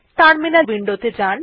terminal window তে যান